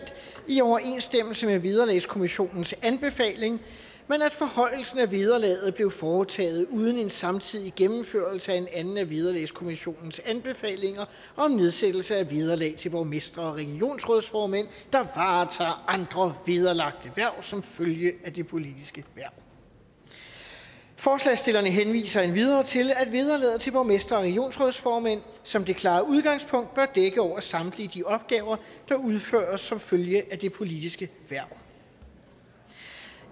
i overensstemmelse med vederlagskommissionens anbefaling men at forhøjelsen af vederlaget blev foretaget uden en samtidig gennemførelse af en anden af vederlagskommissionens anbefalinger om nedsættelse af vederlag til borgmestre og regionsrådsformænd der varetager andre vederlagte hverv som følge af det politiske hverv forslagsstillerne henviser endvidere til at vederlaget til borgmestre og regionsrådsformænd som det klare udgangspunkt bør dække over samtlige de opgaver der udføres som følge af det politiske hverv